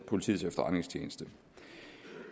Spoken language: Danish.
politiets efterretningstjeneste